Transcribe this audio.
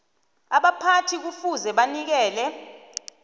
abaphathi kufuze banikele